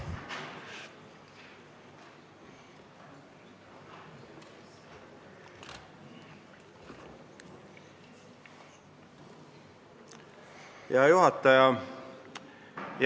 Hea juhataja!